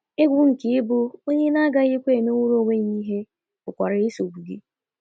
Egwu nke ịbụ onye na - agakwaghị emenwuru onwe ya ihe pụkwara isogbu gị.